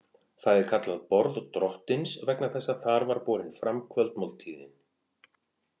Það er kallað borð Drottins vegna þess að þar er borin fram kvöldmáltíðin.